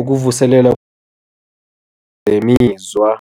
ukuvuselela ngemizwa.